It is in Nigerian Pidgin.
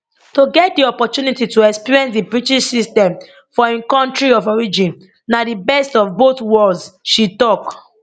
to get di opportunity to experience di british system for im kontri of origin na di best of both worlds she tok